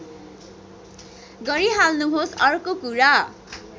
गरिहाल्नुहोस् अर्को कुरा